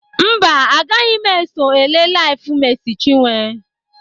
Mba, agaghị m eso ele LIVE Mercy Chinwo.